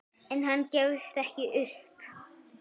En hann gefst ekki upp.